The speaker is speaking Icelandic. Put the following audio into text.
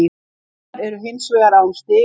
Haukar eru hins vegar án stiga